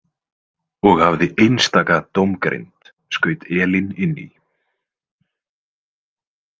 Og hafði einstaka dómgreind, skaut Elín inn í.